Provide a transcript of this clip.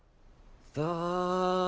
það